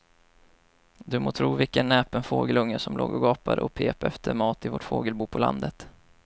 Du må tro vilken näpen fågelunge som låg och gapade och pep efter mat i vårt fågelbo på landet.